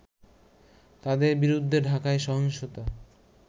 তাদের বিরুদ্ধে ঢাকায় সহিংসতা